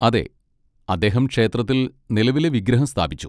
അതെ, അദ്ദേഹം ക്ഷേത്രത്തിൽ നിലവിലെ വിഗ്രഹം സ്ഥാപിച്ചു.